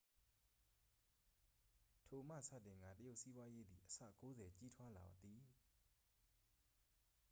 ထိုမှစတင်ကာ တရုတ်စီးပွားရေးသည်အဆ 90 ကြီးထွားလာသည်